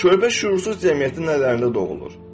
Körpə şüursuz cəmiyyət nələrində doğulur.